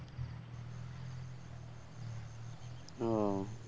ও